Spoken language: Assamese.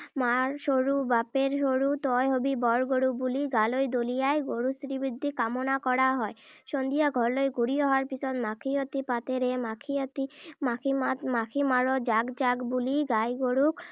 মাৰ সৰু বাপেৰ সৰু তই হবি বৰ গৰু’ বুলি গালৈ দলিয়াই গৰুৰ শ্ৰীবৃদ্ধি কামনা কৰা হয়। সন্ধিয়া ঘৰলৈ ঘূৰি অহাৰ পিছত মাখিয়তী পাতেৰে ‘মাখিয়তী মাখিপাত মাখি মাৰ জাক-জাক বুলি গাই গৰুক